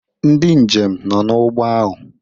ndị njem nọ n'ụgbọ ahụ